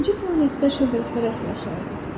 İkinci planetdə şöhrətpərəst yaşayırdı.